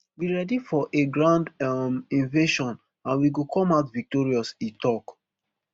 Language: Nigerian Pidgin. we ready for a ground um invasion and we go come out victorious e tok